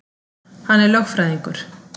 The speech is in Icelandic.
Hann er lögfræðingur.